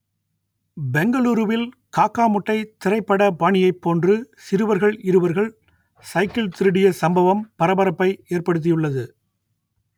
பெங்களூருவில் காக்கா முட்டை திரைப்பட பாணியைப் போன்று சிறுவர்கள் இருவர்கள் சைக்கிள் திருடிய சம்பவம் பரபரப்பை ஏற்படுத்தி உள்ளது